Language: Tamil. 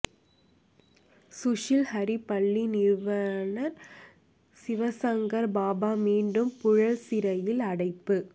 சுஷில் ஹரி பள்ளி நிறுவனர் சிவசங்கர் பாபா மீண்டும் புழல் சிறையில் அடைப்பு